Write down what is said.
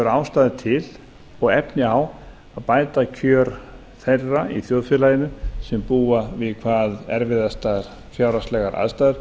ástæðu til og efni á að bæta kjör þeirra í þjóðfélaginu sem búa við hvað erfiðastar fjárhagslegar aðstæður